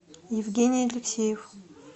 евгений алексеев